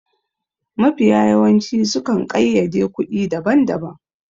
Mafiya yawanci su kan ƙayyade kuɗi daban daban